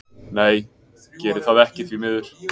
Nei geri það ekki því miður.